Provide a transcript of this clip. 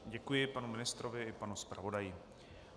Děkuji panu ministrovi i panu zpravodaji.